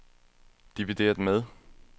divideret med